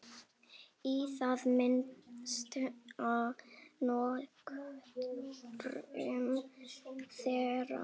Í það minnsta nokkrum þeirra.